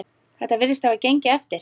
Þetta virðist hafa gengið eftir.